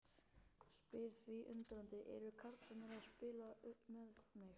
Spyr því undrandi: Eru karlarnir að spila með mig?